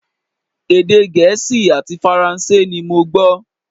Èdè Gẹ̀ẹ́sì àti Faransé ni mo gbọ́